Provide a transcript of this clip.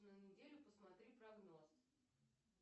на неделю посмотри прогноз